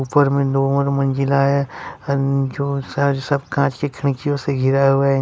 ऊपर में नौ मंजिला है जो सर सब कांच खिड़कियों से घिरा हुआ है।